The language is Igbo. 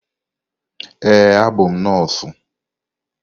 Ee, abụ m nọọsụ.